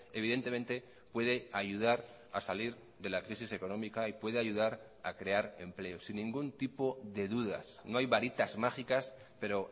evidentemente puede ayudar a salir de la crisis económica y puede ayudar a crear empleo sin ningún tipo de dudas no hay varitas mágicas pero